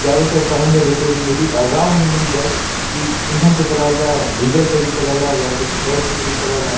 ज्यादा तर शहर में देखे के मिली अ गांव में भी मिल जाइ इ ईंधन से चलएला डीज़ल से भी चलेला या फिर पेट्रोल से भी चलेला --